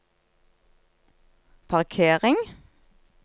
parkering